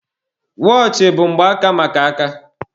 Wọọchị bụ mgbaaka maka aka.